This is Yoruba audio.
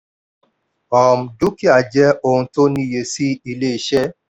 um dúkìá jẹ ohun tó níye sí ilé-iṣẹ́.